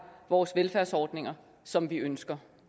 vores velfærdsordninger som vi ønsker